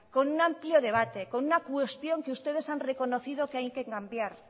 con un amplio debate con una cuestión que ustedes que han reconocido que hay que cambiar